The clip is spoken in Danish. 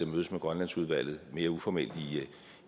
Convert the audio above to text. mødes med grønlandsudvalget mere uformelt